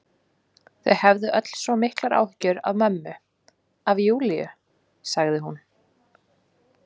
Þau hefðu öll svo miklar áhyggjur af mömmu, af Júlíu, sagði hún.